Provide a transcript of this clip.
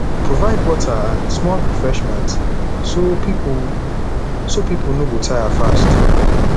provide water and small refreshment so people so people no go tire fast